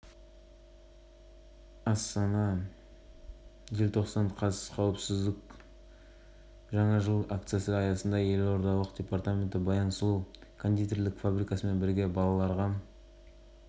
атап өтеді ал жаттығуды жылдың басында жалғастырады айта кетейік головкиннің келесі жекпе-жегі наурызда болады деп